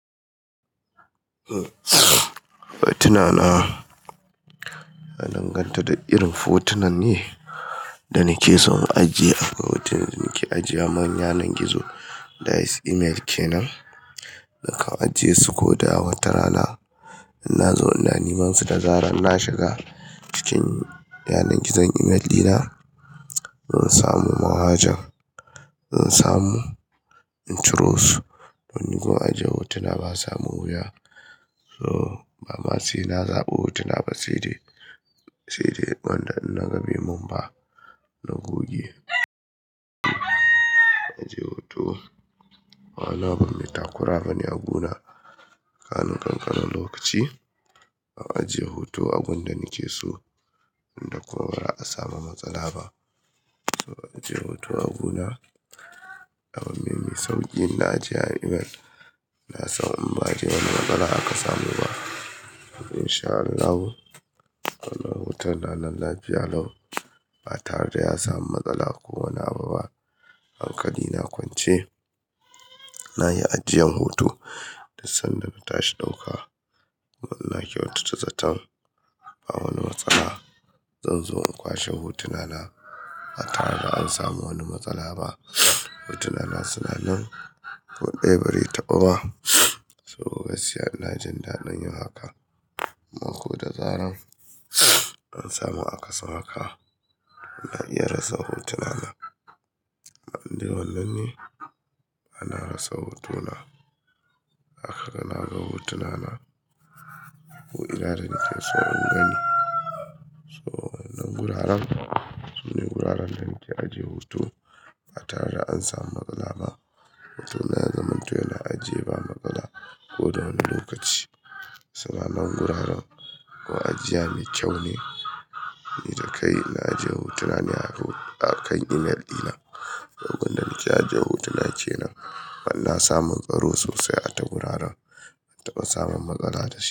Hotuna na, na danganta da irin hotunan ne da nake so in ajiye. Hotunan da nake ajiya ma yanan gizo, da is email kenan, nakan ajiye su ko da wata rana. Inna zo ina nimansu, da zarar na shiga cikin yanar gizon email dina, zan samu manhaja, zan samu in ciro su. Ni gun ajiye hotuna basa mun wuya No, bama sai na zaɓa hotuna ba, sai dai, sai dai wanda in naga bai mun ba, na goge. Ajiye hoto. Ba wani abu mai takura bane a guna kamin ƙanƙanin lokaci. A ajiye hoto agun da nake so, inda kuma ba da'a samu matsala ba. To a ajiye hoto a guna. Abu ne mai sauƙi inna ajiya email. Na san in ba'a ajiye wani wand ba aka samu ba. In sha Allahu, wannan hoton na nan lafiya lau, ba tare da ya samu matsala ko wani abu ba. Hankali na akwance, na yi ajiyan hoto dan sanda na tashi ɗauka. Kuma ina kyautata zaton ba wani matsala. Zan zo in kwashe hotuna na, ba tare da an samu wani matsala ba. Hotuna na suna nan, ko ɗaya ba re taɓu ba. So gaskiya ina jin daɗin yin haka. Ko da zaran, an samu akasin haka. Na iya rasa hotuna na. Amma in dai wannan ne, bana rasa hotuna. Ahaka na ga hotuna na, ko ina da nike so in gani. So, wa'innan guraren, sune guraren da nike ajiye hoto ba tare da an samu matsala ba. Hotuna ya zamanto yana ajiye ba matsala ko da wani lokaci. To a nan guraren, gun ajiya mai kyau ne. Ni da kai inna ajiye hotuna ne a kan email dina. Saboda a gunda nike ajiye hotuna kenan, kuma ina samu tsaro sosai a ta guraren. Ban taɓa samun matsala da shi.